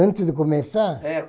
antes de começar. É